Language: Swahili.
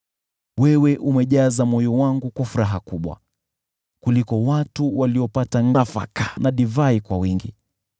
Wewe umejaza moyo wangu kwa furaha kubwa kuliko watu waliopata nafaka na divai kwa wingi.